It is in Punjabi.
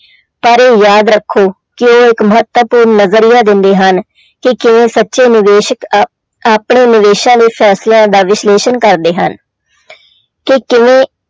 ਪਰ ਇਹ ਯਾਦ ਰੱਖੋ ਕਿ ਉਹ ਇੱਕ ਮਹੱਤਵਪੂਰਨ ਨਜ਼ਰੀਆ ਦਿੰਦੇ ਹਨ ਕਿ ਕਿਵੇਂ ਸੱਚੇ ਨਿਵੇਸਕ ਅਹ ਆਪਣੇ ਨਿਵੇਸਾਂ ਦੇ ਫੈਸਲਿਆਂ ਦਾ ਵਿਸ਼ਲੇਸ਼ਣ ਕਰਦੇ ਹਨ ਕਿ ਕਿਵੇਂ